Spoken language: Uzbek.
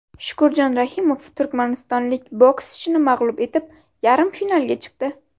Shukurjon Rahimov turkmanistonlik bokschini mag‘lub etib, yarim finalga chiqdi .